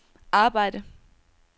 arbejde